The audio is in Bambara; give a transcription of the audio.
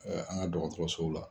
An ka dɔgɔtɔrɔsow la